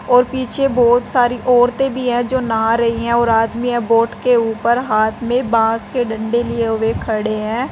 और पीछे बोहोत सारी औरतें भी हैं जो नहा रही हैं और आदमी है बोट के ऊपर हाथ में बाँस के डंडे लिए हुए खड़े हैं।